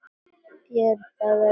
BJÖRN: Það verður að bíða.